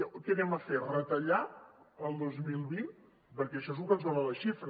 què farem retallar el dos mil vint perquè això és lo que ens dona la xifra